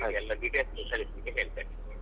ಎಲ್ಲ details ಕಳಿಸ್ಲಿಕ್ಕೆ ಹೇಳ್ತೇನೆ.